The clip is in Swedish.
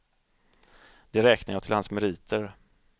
Det räknar jag till hans meriter.